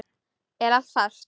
Er allt fast?